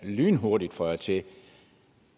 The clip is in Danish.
lynhurtigt føjer til